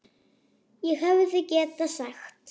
ÉG HEFÐI GETAÐ SAGT